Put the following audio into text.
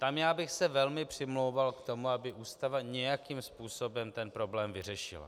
Tam já bych se velmi přimlouval k tomu, aby Ústava nějakým způsobem ten problém vyřešila.